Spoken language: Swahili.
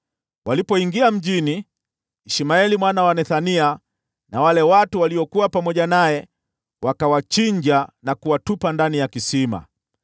Walipoingia mjini, Ishmaeli mwana wa Nethania na wale watu waliokuwa pamoja naye wakawachinja na kuwatupa ndani ya kisima.